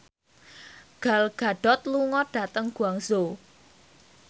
Gal Gadot lunga dhateng Guangzhou